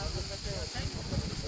At qardaşım, at.